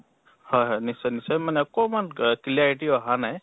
হয় হয় নিশ্চয় নিশ্চয়। মানে অকমান গ clarity অহা নাই